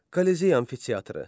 Kolizey amfiteatrı.